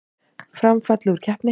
Fram fallið úr keppni